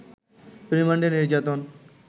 রিমান্ডে নির্যাতন